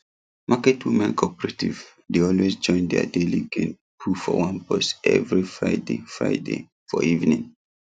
market women cooperative dey always join their daily gain put for one purse every friday friday for evening